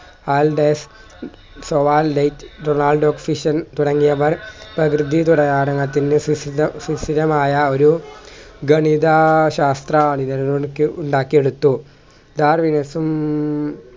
ആൾടെസ് സോവാൻ ലെറ്റ് റൊണാൾഡോ ഫിഷ്യൻ തുടങ്ങിയവർ പ്രകൃതി ഘടകാരകത്തിൻ്റെ സുഷി സുഷിരമായ ഒരു ഗണിതാ ശാസ്ത്ര ഉണ്ടാക്കി എടുത്തു വികാസം